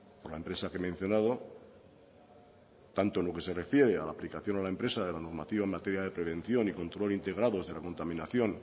por la empresa que he mencionado tanto en lo que se refiere a la aplicación a la empresa de la normativa en materia de prevención y control integrados de la contaminación